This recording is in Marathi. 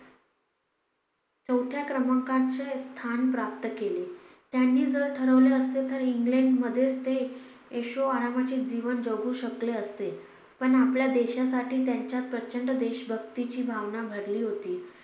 चौथ्या क्रमांकाचे स्थान प्राप्त केले. त्यांनी जर ठरवले असते तर इंग्लंडमध्येच ते ऐशोआरामाचे जीवन जगू शकले असते. पण आपल्या देशासाठी त्यांच्यात प्रचंड देशभक्तीची भावना भरली होती.